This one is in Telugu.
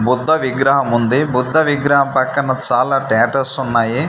బుద్ధ విగ్రహం ఉంది బుద్ధ విగ్రహం పక్కన చాలా టాటూస్ ఉన్నాయి.